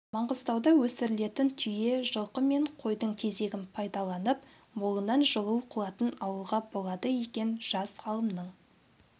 маңғыстауда өсірілетін түйе жылқы мен қойдың тезегін пайдаланып молынан жылу қуатын алуға болады екен жас ғалымның